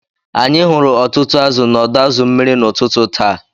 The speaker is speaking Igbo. Anyị hụrụ ọtụtụ azụ̀ n’ọdọ azu mmiri n’ụtụtụ taa